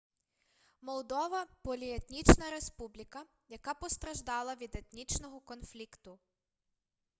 молдова поліетнічна республіка яка постраждала від етнічного конфлікту